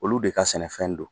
Olu de ka sɛnɛfɛn don.